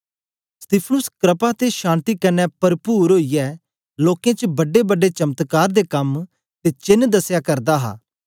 स्तिफनुस क्रपा ते शक्ति कन्ने परपुर ओईयै लोकें च बड्डेबड्डे चमत्कार दे कम ते चेन्न दसया करदा हा